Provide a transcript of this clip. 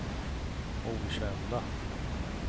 okända